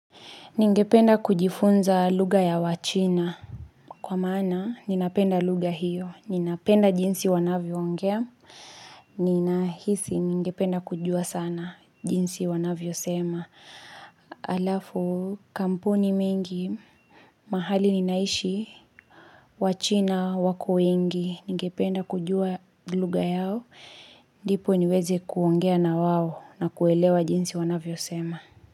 Ningependa kujifunza lugha ya wachina, kwa maana ninapenda lugha hiyo, ninapenda jinsi wanavyoongea, ninahisi ningependa kujua sana jinsi wanavyo sema, halafu kampuni mengi, mahali ninaishi, wachina, wako wengi, ningependa kujua lugha yao, ndipo niweze kuongea na wao na kuelewa jinsi wanavyo sema.